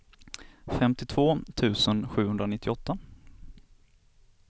femtiotvå tusen sjuhundranittioåtta